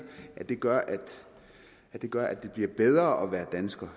at det gør at gør at det bliver bedre at være dansker